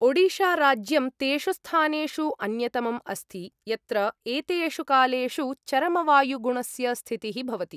ओडिशाराज्यं तेषु स्थानेषु अन्यतमम् अस्ति, यत्र एतेषु कालेषु चरमवायुगुणस्य स्थितिः भवति।